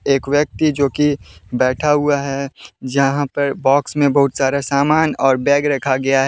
एक व्यक्ति जोकि बैठा हुआ है जहां पर बॉक्स में बहुत सारा सामान और बैग रखा गया है।